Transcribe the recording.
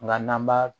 Nka n'an b'a